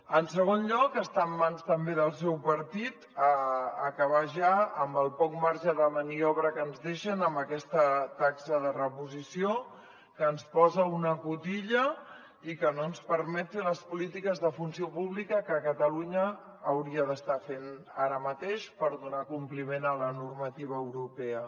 en segon lloc està en mans també del seu partit acabar ja amb el poc marge de maniobra que ens deixen amb aquesta taxa de reposició que ens posa una cotilla i que no ens permet fer les polítiques de funció pública que catalunya hauria d’estar fent ara mateix per donar compliment a la normativa europea